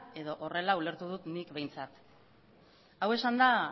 edo horrela ulertu dut nik behintzat hau esanda